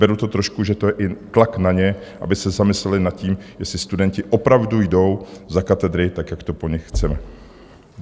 Beru to trošku, že to je i tlak na ně, aby se zamysleli nad tím, jestli studenti opravdu jdou za katedry, tak jak to po nich chceme.